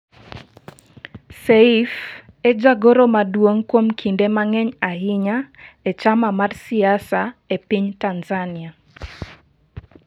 Seif e jagoro maduong kuom kinde mang'eny ahinya e chama mar siasa e piny Tanzania.